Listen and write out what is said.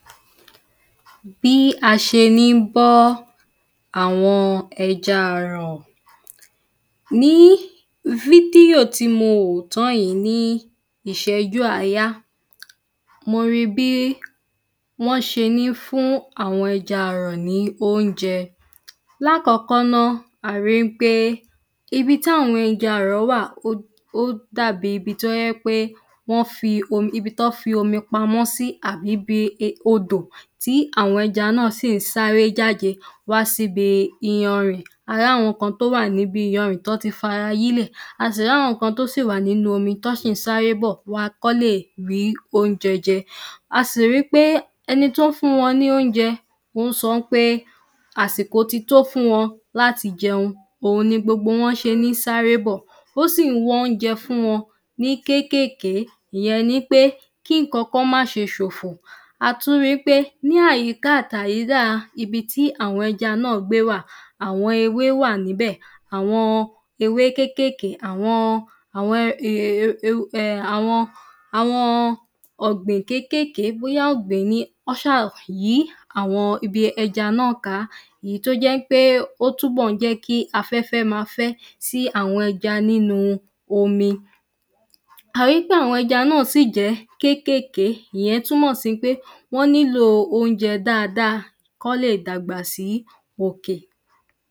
bí a ṣe ń bọ́ àwọn ẹja àrọ̀ ní fídíò tí mo wò tán yìí ní ìséjú àáyá mo ri bí wọ́n ṣe ń fún àwọn ẹja àrọ̀ ní óúnjẹ lákọ̀ọ́kọ́ na, a rí pé ibi tí àwọn ẹja arọ wà, ó dàbi ibi tó jẹ́ pé wọ́n fi omi pamọ́ sí àbí ibi odò tí àwọn ẹja náà sí ǹ sáré jáde wá sí ibi iyanrìn, a rí àwọn kan tó wà ní bi iyanrìn tí wọ́n ti fara yílẹ̀, a sì rí àwọn kan tó ṣì wà nínu omi tó sì ń sáré bọ̀ wá kí wọ́n lè rí óúnjẹ jẹ a sì ri pé eni tó ń fún wọn ní óúnjẹ o sọ pé, àsìkò ti tó fún wọn láti jẹun, òun ni gbogbo wọ́n ṣe ń sáré bọ̀, ó sì wọn óúnjẹ fún wọn ní kékèèké, ìyẹn ni pé kí ǹkan kan má ṣe ṣòfò a tún ríi pé ní àyíkà àti àyídà, ibi tí àwọn ẹja náà gbé wà, àwọn ewé wà nibẹ̀, àwọn ewé kékèké, àwọn ọ̀gbìn kékèké, bóyá ọ́ gbìn ín ni, o ṣa yí àwọn ibi ẹja náà ká. èyí tó jẹ́ pé, ó túbọ̀ jẹ kí aféfé máa fẹ́ sí àwọn ẹja nínu omi. a ríi pé àwọn ẹja náà sì jẹ́ kékèké, ìyẹn túmọ̀ sí pé wọ́n nílo óúnjẹ dáadáa kọ́ lè dàgbà sí òkè